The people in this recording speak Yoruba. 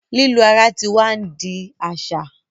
lilu ara tí wá ni di a aṣa